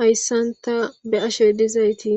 hayssan ta be'ashe dizayti